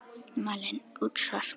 Malen: Útsvar.